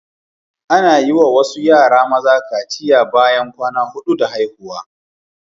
Ana yi wa wasu yara maza kaciya bayan kwana hudu da haihuwa